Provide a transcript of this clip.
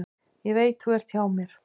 Ég veit þú ert hjá mér.